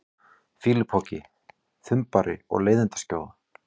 fýlupoki, þumbari og leiðindaskjóða?